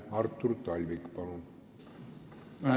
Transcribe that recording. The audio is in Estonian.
Artur Talvik, palun!